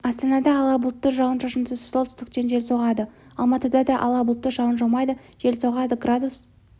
астанада ала бұлтты жауын-шашынсыз солтүстік-шығыстан жел соғады алматыда да ала бұлтты жауын жаумайды жел соғады градус